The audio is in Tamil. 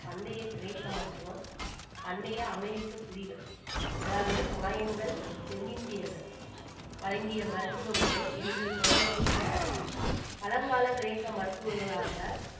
பண்டைய கிரேக்க மருத்துவம் பண்டைய அமெரிக்க குடிகள் அதாவது மாயன்கள் தென்னிந்தியர்கள் வழங்கிய மருத்துவம் முறை என்ற தொடர்பில் கேட்டுள்ளனர் பழங்கால கிரேக்க மருத்துவர்களாக